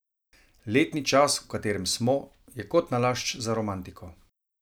Letni čas, v katerem smo, je kot nalašč za romantiko.